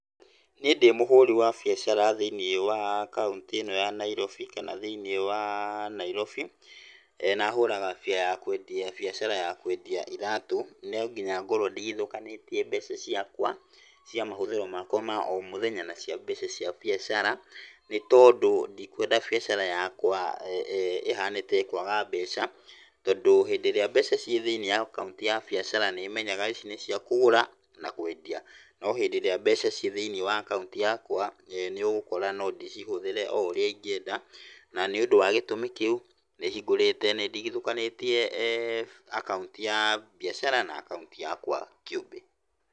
Niĩ ndĩmũhũri wa biacara thĩiniĩ wa kauntĩ ĩno ya Nairobi kana thĩiniĩ wa Nairobi, na hũraga bia ya kwendia biacara ya kwendia iratũ, no nginya ngorwo ndigithũkanĩtie mbeca ciakwa cia mahũthĩro makwa ma o mũthenya na mbeca cia mbiacara, nĩtondũ ndikwenda biacara yakwa ĩhane ta ĩ kwaga mbeca, tondũ hĩndĩ ĩrĩa mbeca ciĩ thĩiniĩ wa akaunti ya biacara nĩmenyaga ici nĩ cia kũgũra na kwendia. No, hĩndĩ ĩrĩa mbeca ciĩ thĩiniĩ wa akaunti yakwa, nĩũgũkora no ndĩcihũthĩre o ũrĩa ingĩenda na nĩũndũ wa gĩtũmi kĩu, nĩhingũrĩte nĩndigithũkanĩtie akaunti ya biacara, na akaunti yakwa kĩũmbe.